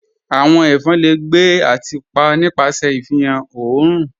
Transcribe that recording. "Awọn ẹfọn le gbẹ̀ ati pa nipasẹ̀ ifihan ọ̀orun